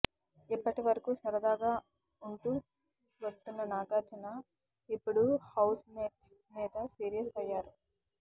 ఇప్పటివరకూ సరదాగా ఉంటూ వస్తున్న నాగార్జున ఇప్పుడు హౌస్ మేట్స్ మీద సీరియస్ అయ్యారు